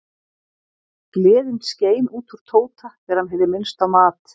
Gleðin skein út úr Tóta þegar hann heyrði minnst á mat.